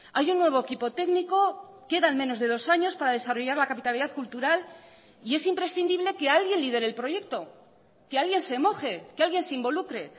hay un nuevo equipo técnico quedan menos de dos años para desarrollar la capitalidad cultural y es imprescindible que alguien lidere el proyecto que alguien se moje que alguien se involucre